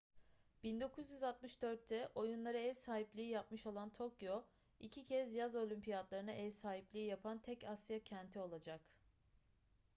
1964'te oyunlara ev sahipliği yapmış olan tokyo iki kez yaz olimpiyatlarına ev sahipliği yapan tek asya kenti olacak